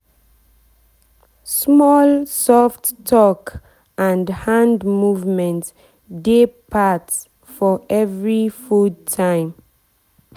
small soft talk and hand movement dey part for every food time.